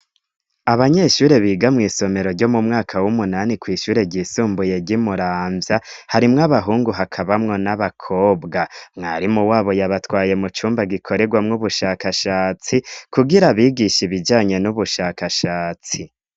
abanyeshure biga mw' isomero ryo mu mwaka w'umunani kw'ishure ryisumbuye gimuramvya harimwo abahungu hakabamwo n'abakobwa mwarimu wabo yabatwaye mucumba gikoregwamwo ubushakashatsi kugira abigisha ibijanye n'ubushakashatsi